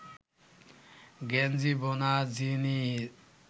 গেঞ্জি বোনা জিনিস